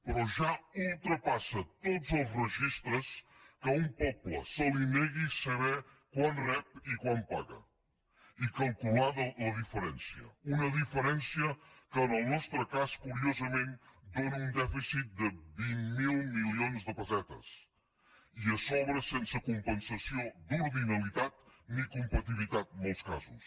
però ja ultrapassa tots els registres que a un poble se li negui saber quant rep i quant paga i calcular ne la diferència una diferència que en el nostre cas curiosament dóna un dèficit de vint miler milions de pessetes i a sobre sense compensació d’ordinalitat i ni competitivitat en molts casos